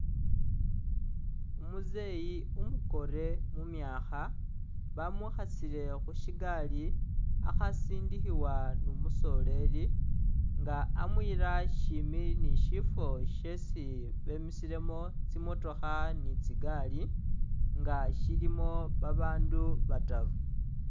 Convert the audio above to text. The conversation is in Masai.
Umuzeyi umukore mu myakha, bamwikhasile khu syigali akhasindikhibwa ni umusoreri nga amuyila shimi ni syifwo syesi bemisilemu tsimotokha ni tsigari nga syilimo babaandu bataru.